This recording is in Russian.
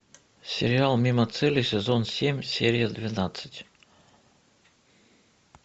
сериал мимо цели сезон семь серия двенадцать